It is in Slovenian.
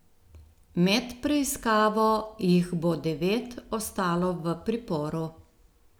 Med preiskavo jih bo devet ostalo v priporu.